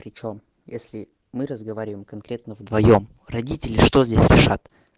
причём если мы разговариваем конкретно вдвоём родители что здесь реша